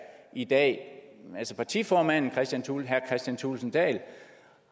i dag partiformanden herre kristian thulesen dahl